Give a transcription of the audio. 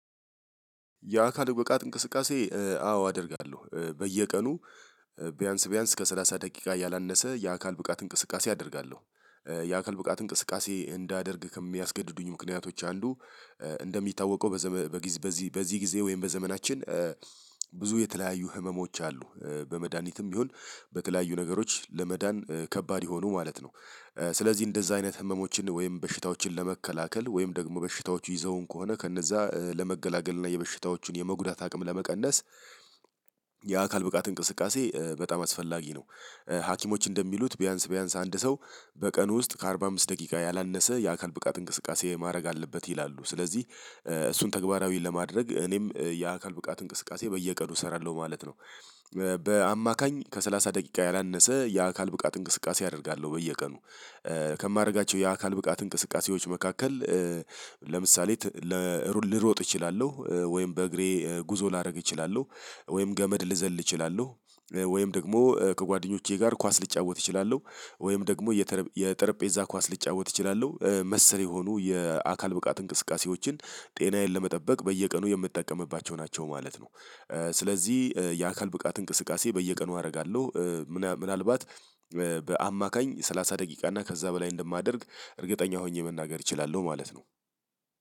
የአካል ብቃት እንቅስቃሴ አዎ አደርጋለሁ በየቀኑ ቢያንስ ቢያንስ ከሠላሳ ደቂቃ ያላነሰ የአካል ብቃት እንቅስቃሴ አደርጋለሁ። የአካል ብቃት እንቅስቃሴ እንዳደርግ ከሚያስገድዱኝ ምክንያቶች አንዱ እንደሚታወቀው በዚህ በዚህ በዚህ ጊዜ ወይም በዘመናችን ብዙ የተለያዩ ህመሞች አሉ በመድሃኒትም ቢሆን በተለያዩ ነገሮች ለመዳን ከባድ የሆኑ ማለት ነው። ስለዚህ እንደዛ አይነት ህመሞችን ወይም በሽታዎችን ለመከላከል ወይም ደግሞ በሽታዎቹ ይዘውን ከሆነ ከነዛ ለመገላገል እና የበሽታዎቹን የመጉዳት አቅም ለመቀነስ የአካል ብቃት እንቅስቃሴ በጣም አስፈላጊ ነው። ሀኪሞች እንደሚሉት ቢያንስ ቢያንስ አንድ ሰው በቀን ውስጥ ከአርባ አምስት ደቂቃ ያላነሰ የአካል ብቃት እንቅስቃሴ ማድረግ አለበት ይላሉ ስለዚህ እሱን ተግባራዊ ለማድረግ እኔም የአካል ብቃት እንቅስቃሴ በየቀኑ እሰራለሁ ማለት ነው። በአማካኝ ከሠላሳ ደቂቃ ያላነሰ የአካል ብቃት እንቅስቃሴ አደርጋለሁ በየቀኑ። ከማደርጋቸው የአካል ብቃት እንቅስቃሴዎች መካከል ለምሳሌ ልሮጥ እችላለሁ ወይም በእግሬ ጉዞ ላደርግ እችላለሁ ወይም ገመድ ልዘል እችላለሁ ወይም ደግሞ ከጓደኞቼ ጋር ኳስ ልጫወት እችላለሁ ወይም ደግሞ የጠረጴዛ ኳስ ልጫወት እችላለሁ መሰል የሆኑ የአካል ብቃት እንቅስቃሴዎችን ጤናዬን ለመጠበቅ በየቀኑ የምጠቀምባቸው ናቸው ማለት ነው። ስለዚህ የአካል ብቃት እንቅስቃሴ በየቀኑ አደርጋለሁ። ምናልባት በአማካኝ ሰላሳ ደቂቃ እና ከዛ በላይ እንደማደርግ እርግጠኛ ሆኜ መናገር እችላለሁ ማለት ነው።